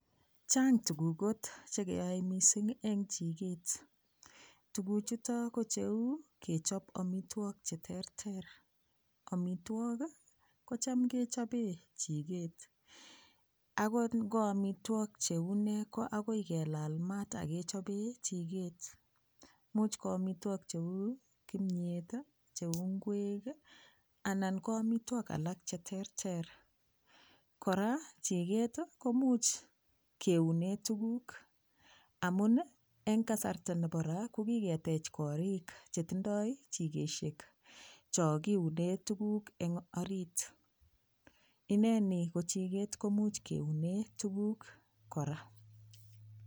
Chang tukuk kot chekeyoe mising eng chikeet tukuchuto ko cheu kechop omitwok che terter omitwok kocham kechobee chiket akot ngo amitwok che unee ko akoi kelal mat akechobee chikeet much ko omitwokik cheu kimyet, che u ngwek anan ko amitwok alak cheterter kora chikeet ko much keunee tukuk amun eng kasarta nebo raa ko kiketeech korik chetindoi chikeshek cho kiunee tukuk eng orit ineni ko chikeet komuch keunee tukuk kora